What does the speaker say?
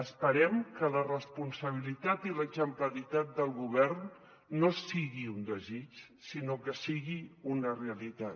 esperem que la responsabilitat i l’exemplaritat del govern no sigui un desig sinó que sigui una realitat